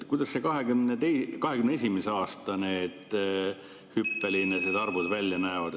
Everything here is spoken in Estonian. Kuidas 2021. aasta need hüppelised arvud välja näevad?